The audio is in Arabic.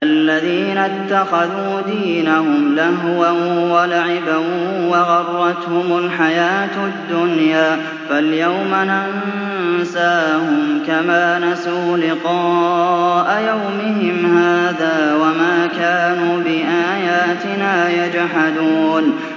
الَّذِينَ اتَّخَذُوا دِينَهُمْ لَهْوًا وَلَعِبًا وَغَرَّتْهُمُ الْحَيَاةُ الدُّنْيَا ۚ فَالْيَوْمَ نَنسَاهُمْ كَمَا نَسُوا لِقَاءَ يَوْمِهِمْ هَٰذَا وَمَا كَانُوا بِآيَاتِنَا يَجْحَدُونَ